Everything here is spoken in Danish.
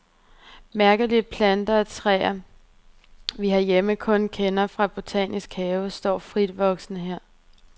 Mærkelige planter og træer, vi herhjemme kun kender fra botaniske haver, står fritvoksende her.